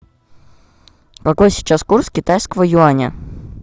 какой сейчас курс китайского юаня